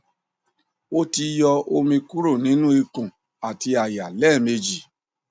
o ti yọ omi kuro ninu ikun ati àyà lẹmeji